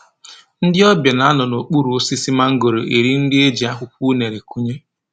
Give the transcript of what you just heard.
Ndị ọbịa na-anọ nokpuru osisi mangoro eri nri e ji akwụkwọ unere kunye